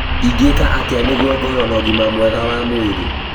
Ingĩka atĩa nĩguo ngorũo na ũgima mwega wa mwĩrĩ?